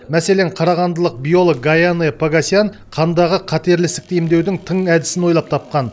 мәселен қарағандылық биолог гаянэ погосян қандағы қатерлі ісікті емдеудің тың әдісін ойлап тапқан